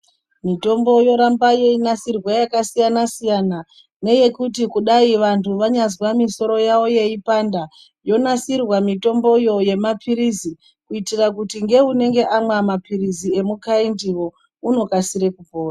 Mitombo yoramba yeinasirwa yakasiyana siyana neyekuti vantu vanyazwa musoro yawo yeipanda yonasirwa mitombo yemapirizi kuitira kuti neanenge amwa mapirizi ungaiti unokasira kupora.